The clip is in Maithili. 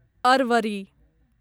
अरवरी